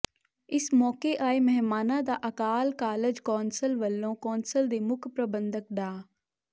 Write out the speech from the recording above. ਇਸ ਮੌਕੇ ਆਏ ਮਹਿਮਾਨਾਂ ਦਾ ਅਕਾਲ ਕਾਲਜ ਕੌਂਸਲ ਵੱਲੋਂ ਕੌਂਸਲ ਦੇ ਮੁੱਖ ਪ੍ਰਬੰਧਕ ਡਾ